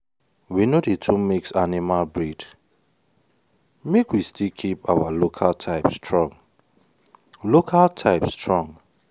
we no dey too mix animal breed make we still keep our local type strong. local type strong.